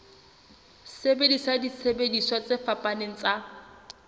sebedisa disebediswa tse fapaneng tsa